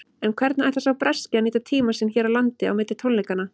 En hvernig ætlar sá breski að nýta tímann sinn hér á landi á milli tónleikanna?